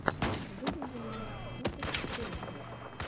выведи мне список челленджей